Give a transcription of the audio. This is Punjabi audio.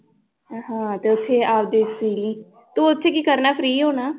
ਹਾਂ ਤੇ ਉੱਥੇ ਆਪਦੇ ਸੀਅ ਲੀ, ਤੂੰ ਉੱਥੇ ਕੀ ਕਰਨਾ free ਹੋਣਾ